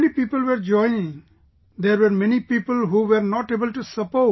Not many people were joining ..., there were many people who were not able to support